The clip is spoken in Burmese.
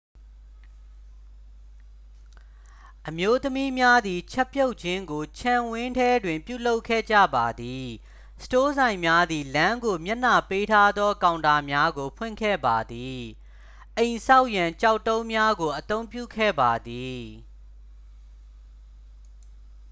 အမျိုးသမီးများသည် ချက်ပြုတ်ခြင်းကို ခြံဝန်းထဲတွင်ပြုလုပ်ခဲ့ကြပါသည် စတိုးဆိုင်များသည် လမ်းကိုမျက်နှာပေးထားသောကောင်တာများကို ဖွင့်ခဲ့ပါသည် အိမ်ဆောက်ရန် ကျောက်တုံးများကိုအသုံးပြုခဲ့ပါသည်